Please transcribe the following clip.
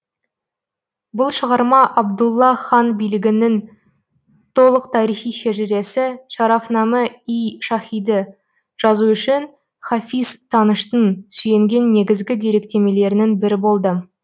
бұл шығарма абдулла хан билігінің толық тарихи шежіресі шарафнаме ий шаһиды жазу үшін хафиз таныштың сүйенген негізгі деректемелерінің бірі болды